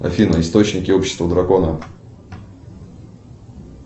афина источники общества дракона